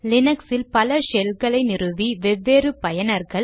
லீனக்ஸில் பல ஷெல்களை நிறுவி வெவ்வேறு பயனர்கள்